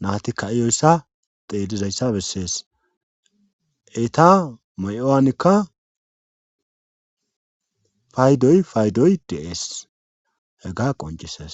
naati ka7iyoyssa xeellizayssa bessees eeta may7uwaanikka faydoy faydoy de7ees hega qonccisees.